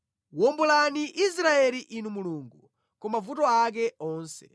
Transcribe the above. Wombolani Israeli Inu Mulungu, ku mavuto ake onse!